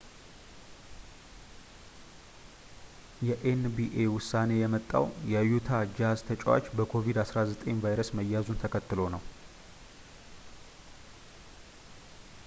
የኤንቢኤ ዉሳኔ የመጣዉ የዩታ ጃዝ ተጨዋች በ ኮቪድ-19 ቫይረስ መያዙን ተከትሎ ነዉ